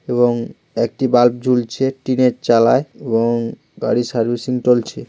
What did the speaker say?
এবং একটি বাল্ব জ্বলছে টিনের চালায় এবং গাড়ি সার্ভিসিং চলছে।